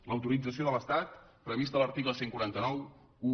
l’autorització de l’estat prevista a l’article catorze noranta u